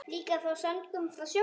Líka af söngnum frá sjónum.